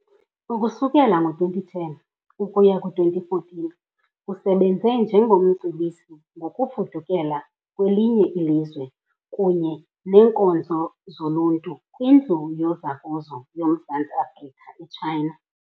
Ukusukela ngo-2010 ukuya ku-2014 usebenze njengoMcebisi ngokufudukela kwelinye ilizwe kunye neeNkonzo zoLuntu kwindlu yozakuzo yoMzantsi Afrika e China.